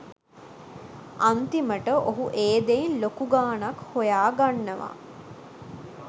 අන්තිමට ඔහු ඒ දෙයින් ලොකු ගානක් හොයාගන්නවා.